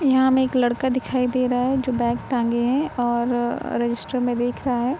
यहाँ हमें एक लड़का दिखाई दे रहा है जो बैग टाँगे है और रजिस्टर में देख रहा है।